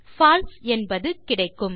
பால்சே என்பது கிடைக்கும்